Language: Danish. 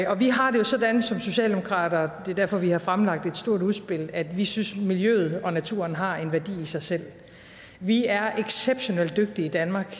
vi har det jo sådan som socialdemokrater det er derfor vi har fremlagt et stort udspil at vi synes at miljøet og naturen har en værdi i sig selv vi er exceptionelt dygtige i danmark